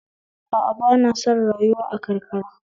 A a ba na son rayuwa a karkara